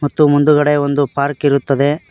ಮತ್ತು ಮುಂದ್ಗಡೆ ಒಂದು ಪಾರ್ಕ್ ಇರುತ್ತದೆ.